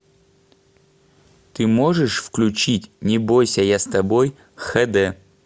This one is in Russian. ты можешь включить не бойся я с тобой хд